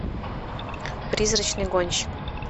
призрачный гонщик